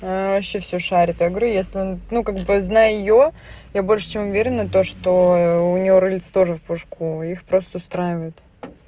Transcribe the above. она вообще всё шарит я говорю если ну как бы знаю её я больше чем уверена то что у неё рыльце тоже в пушку их просто устраивает